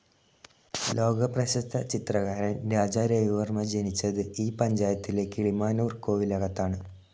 ലോകപ്രശസ്ത ചിത്രകാരൻ രാജ രവിവർമ്മ ജനിച്ചത് ഈ പഞ്ചായത്തിലെ കിളിമാനൂർ കോവിലകത്താണ്.